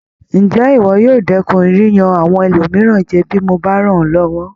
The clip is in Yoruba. Ǹjé ìwọ yóò dẹ́kun yíyan àwọn ẹlòmíràn jẹ bí mo bá rán ọ́ lọ́wọ́?